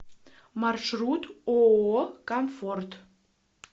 маршрут ооо комфорт